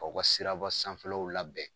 K'aw ka siraba sanfɛlaw labɛn